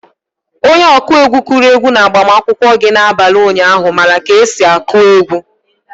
Onye ọkụ egwu kụrụ egwu na-agbamakwụkwọ gị na-abalị ụnyaahụ mara ka esi akụ egwu.